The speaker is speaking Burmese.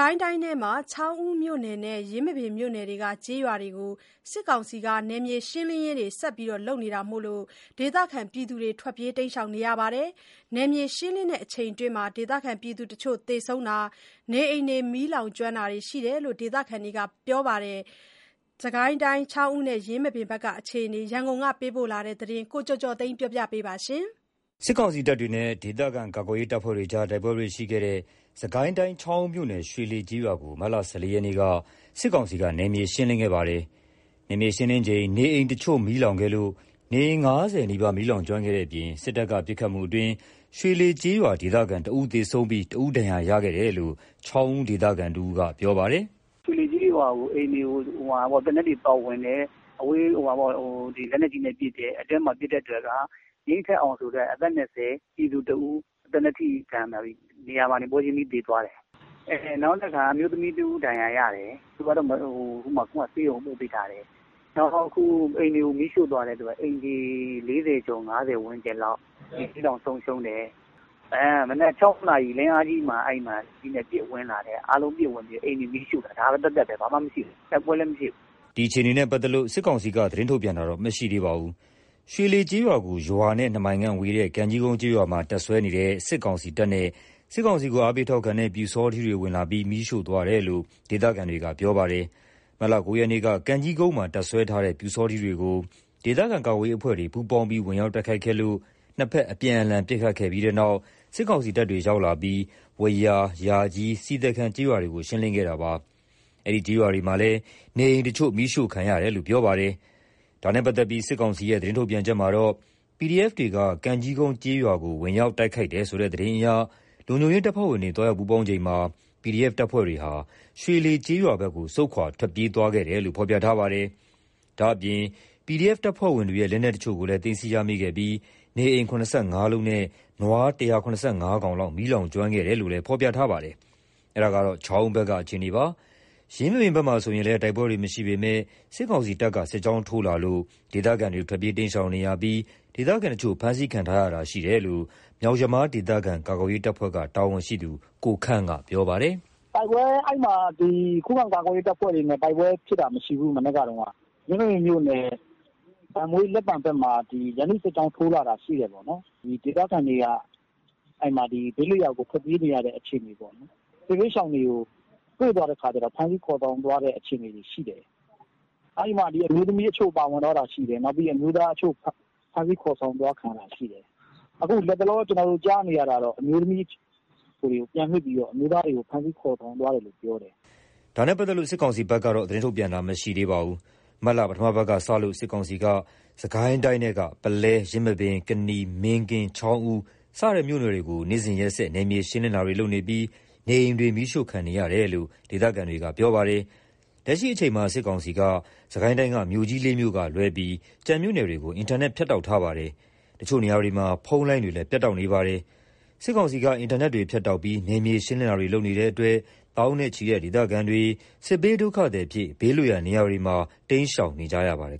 ိုင်းတိုင်းထဲမှာ ချောင်းဦးမြို့နယ်နဲ့ ယင်းမာပင်မြို့နယ်တို့က ကျေးရွာတွေကို စစ်ကောင်စီက နယ်မြေရှင်းလင်းရေးတွေ ဆက်လုပ်နေတာမို့ ဒေသတွေခံတွေ ထွက်ပြေးတိမ်းရှောင်နေရပါတယ်။ နယ်မြေရှင်းလင်းစဉ်အတွင်း ဒေသခံတချို့ သေဆုံးတာ၊ နေအိမ်တွေ မီးလောင်ကျွမ်းတာတွေ ရှိတယ်လို့ ဒေသခံတွေက ပြောပါတယ်။ ရန်ကုန်က ပေးပို့လာတဲ့သတင်းကို ကိုကျော်ကျော်သိန်းက ပြောပြပါမယ်။ စစ်ကောင်စီတပ်တွေနဲ့ ဒေသခံကာကွယ်ရေးတပ်ဖွဲ့တွေနဲ့ တိုက်ပွဲတွေရှိခဲ့တဲ့ စစ်ကိုင်းတိုင်း ချောင်းဦးမြို့နယ် ရွှေလှေကျေးရွာကို မတ်လ ၁၄ ရက်က စစ်ကောင်စီက နယ်မြေရှင်းလင်းခဲ့ပါတယ်။ နယ်မြေရှင်းလင်းစဉ် နေအိမ်တချို့ မီးလောင်ခဲ့လို့ နေအိမ် ၅၀ နီးပါး မီးလောင်ကျွမ်းခဲ့တဲ့အပြင် စစ်တပ်တွေ ပစ်ခတ်မှုအတွင်း ရွှေလှေကျေးရွာ ဒေသခံ ၁ သေဆုံးပြီး ၁ ဦး ဒဏ်ရာရရှိခဲ့တယ်လို့ ချောင်းဦး ဒေသခံတဦးက အခုလိုပြောပါတယ်။ “ရွှေလှေကျေးရွာကို သေနတ်တွေဖောက်ဝင်တယ်။ လက်နက်ကြီးနဲ့ပစ်တယ်။ အဲ့မှာပစ်တဲ့အတွက် ငြိမ်းထက်အောင်ဆိုတဲ့ သေနတ်ထိမှန်ပြီး နေရာမှာတင်ပွဲချင်းပြီး သေသွားတယ်။ နောက်တခါ အမျိုးသမီးတဦး ဒဏ်ရာရတယ်။ သူကတော့ ဆေးရုံးပို့ပေးထားတယ်။ နောက် အိမ်တွေကို မီးရှို့သွားတဲ့အတွက် အိမ်ခြေ ၄၀ ကျော် ၅၀ ဝန်းကျင်လောက် မီးလောင်ဆုံးရှုံးတယ်။ မနက် ၆ နာရီလောက် လင်းအားကြီး အချိန်မှာ ပစ်ပြီးတော့ဝင်လာတယ်။ မီးရှို့တယ်။ ဒါသက်သက်ပဲ တိုက်ပွဲလည်း မဖြစ်ဘူး။ ဘာမှလည်း မဖြစ်ဘူး။” ဒီအခြေအနေနဲ့ ပတ်သက်လို့ စစ်ကောင်စီက သတင်းထုတ်ပြန်တာတော့မရှိသေးပါဘူး။ ရွှေလှေကျေးရွာကို ရွာနဲ့ ၂ မိုင်ခန့်ဝေးတဲ့ ကံကြီးကုန်းကျေးရွာမှာ တပ်စွဲနေတဲ့ စစ်ကောင်စီတပ်နဲ့ စစ်ကောင်စီကို အားပေးထောက်ခံတဲ့ ပျူစောထီးတွေ ဝင်ရောက်လာပြီး မီးရှို့သွားတယ်လို့ ဒေသခံတွေက ပြောပါတယ်။ မတ်လ ၉ ရက်က ကံကြီးကုန်းမှာ တပ်စွဲထားတဲ့ ပျူစောထီးတွေကို ဒေသခံကာကွယ်ရေး အဖွဲ့တွေက ပူးပေါင်းပြီး ဝင်ရောက်တိုက်ခိုက်ခဲ့လို့ ၂ ဖက် အပြန်အလှန် ပစ်ခတ်တာတွေဖြစ်ပြီးတဲ့နောက် စစ်ကောင်စီတပ်တွေ ရောက်လာပြီး ဝယာ ၊ ယာကြီး ၊ ဆီသည်ခံ ကျေးရွာတွေကို ရှင်းလင်းခဲ့ပါတယ်။ အဲဒီကျေးရွာတွေမှာလည်း နေအိမ်တချို့ မီးရှို့ခံရတယ်လို့ ပြောပါတယ်။ ဒါနဲ့ပတ်သက်လို့ စစ်ကောင်စီရဲ့ သတင်းထုတ်ပြန်ချက်မှာတော့ PDF တွေက ကံကြီးကုန်းကျေးရွာကို ဝင်ရောက်ခိုက်တယ်ဆိုတဲ့ သတင်းအရ လုံခြုံရေး တပ်ဖွဲ့ဝင်တွေ သွားရောက်ပူးပေါင်းချိန်မှာ PDF တပ်ဖွဲ့တွေဟာ ရွှေလှေကျေးရွာဘက်ကို ဆုတ်ခွါ ထွက်ပေးသွားခဲ့တယ်လို့ ဖော်ပြထားပါတယ်။ ဒါ့အပြင် PDF တပ်ဖွဲ့ဝင်တွေရဲ့ လက်နက်အချို့ကိုလည်း သိမ်းဆည်းရမိခဲ့ပြိး နေအိမ် ၇၅ လုံးနဲ့ နွား ၁၇၅ ကောင်ခန့် မီးလောင်ကျွမ်းခဲ့တယ်လို့လည်း ဖော်ပြထားပါတယ်။ ဒါက ချောင်းဦးဘက်က အခြေအနေပါ။ ယင်းမာပင်ဘက်မှာဆိုရင်လည်း တိုက်ပွဲတွေ မရှိပေမယ့် စစ်ကောင်စီတပ်တွေ စစ်ကြောင်းထိုးလာလို့ ဒေသခံတွေ ထွက်ပြေးတိမ်းရှောင်နေရပြီး ဒေသခံအချို့ ဖမ်းဆီးခံရတာရှိတယ်လို့ မြောက်ယမားဒေသခံ ကာကွယ်ရေး တပ်ဖွဲ့က တာဝန်ရှိသူ ကိုခန့်က ပြောပါတယ်။ “အဲ့မှာ ခုခံကာကွယ်ရေး တပ်ဖွဲ့တွေနဲ့ တိုက်ပွဲဖြစ်တာမရှိဘူး။ ယင်းမာပင်မြို့နယ် ဘန့်ဘွေး ကျေးရွာ ၊ လက်ပံ ကျေးရွာဘက်မှာ ရန်သူ့စစ်ကြောင်း ထိုးလာတာရှိတယ်ပေါ့နော်။ ဒေသခံတွေက ဘေးလွတ်ရာကို ထွက်ပြေးနေရတဲ့ အခြေအနေပေါ့နော်။ စစ်ဘေးရှောင်တွေကို တွေ့တော့ ဖမ်းဆီးခေါ်ဆောင်သွားတဲ့ အခြေအနေရှိတယ်။ အဲ့မှာ အမျိုးသမီးအချို့ပါသွားတာရှိတယ်။ အမျိုးသားအချို့ဖမ်းဆီးခေါ်ဆောင်ခံရတာ ရှိတယ်။ အခု လက်တလော ကျွန်တော်တို့ ကြားနေရတာတော့ အမျိုးသမီးတွေကို ပြန်လွှတ်ပြီးတော့ အမျိုးသားတွေကို ဖမ်းဆီးခေါ်ဆောင်သွားတယ်လို့ပြောတယ်။” ဒါနဲ့ပတ်သက်လို့ စစ်ကောင်စီဘက်ကတော့ သတင်းထုတ်ပြန်တာမရှိသေးပါဘူး။ မတ်လ ပထမ အပတ်ကစလို့ စစ်ကောင်စီက စစ်ကိုင်းတိုင်းထဲက ပုလဲ ၊ ယင်းမာပင် ၊ ကနီ ၊ မင်းကင်း ၊ ချောင်းဦး စတဲ့ မြို့နယ်တွေကို နေ့စဉ်ရက်ဆက် နယ်မြေရှင်းလင်းတာတွေ လုပ်နေပြီး နေအိမ်တွေ မီးရှို့ခံနေရတယ်လို့ ဒေသခံတွေက ပြောပါတယ်။ လက်ရှိအချိန်မှာ စစ်ကောင်စီက စစ်ကိုင်းတိုင်းက မြို့ကြီး ၄ မြို့ကလွဲပြီး ကျန်မြို့နယ်တွေကို အင်တာနက် ဖြတ်တောက် ထားပါတယ်။ အချို့နေရာတွေမှာ ဖုန်းလိုင်းတွေလည်း ပြတ်တောက်နေပါတယ်။ စစ်ကောင်စီက အင်တာနက်တွေဖြတ်တောက်ပြီး နယ်မြေရှင်းလင်းတာတွေလုပ်နေတဲ့အတွက် သောင်းနဲ့ချီတဲ့ ဒေသခံတွေက စစ်ဘေးဒုက္ခသည်အဖြစ် ဘေးလွတ်ရာနေရာတွေမှာ တိမ်းရှောင်နေကြရပါတယ်